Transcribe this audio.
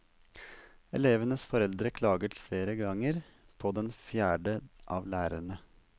Elevenes foreldre klaget flere ganger på den fjerde av lærerne.